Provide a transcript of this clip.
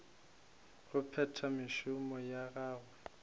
go phetha mešomo ya gagwe